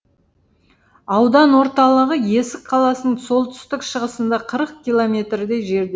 аудан орталығы есік қаласының солтүстік шығысында қырық километрдей жерде